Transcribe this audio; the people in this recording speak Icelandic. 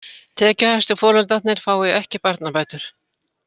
Tekjuhæstu foreldrarnir fái ekki barnabætur